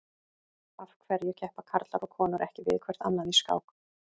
Af hverju keppa karlar og konur ekki við hvert annað í skák?